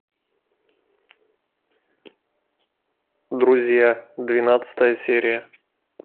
друзья двенадцатая серия